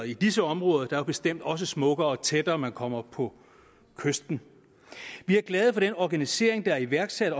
i disse områder er der bestemt også smukkere jo tættere man kommer på kysten vi er glade for den organisering der er iværksat